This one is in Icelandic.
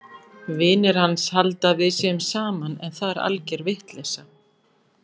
Vinir hans halda að við séum saman en það er alger vitleysa!